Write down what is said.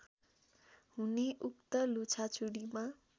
हुने उक्त लुछाचुँडीमा